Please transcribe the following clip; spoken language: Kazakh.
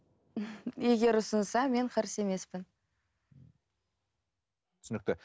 егер ұсынса мен қарсы емеспін түсінікті